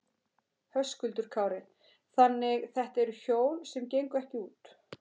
Höskuldur Kári: Þannig þetta eru hjól sem gengu ekki út?